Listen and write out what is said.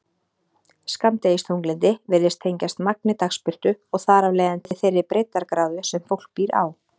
Skammdegisþunglyndi virðist tengjast magni dagsbirtu og þar af leiðandi þeirri breiddargráðu sem fólk býr á.